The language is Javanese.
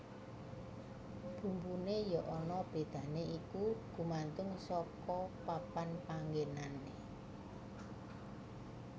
Bumbuné ya ana bedané iku gumantung saka papan panggenané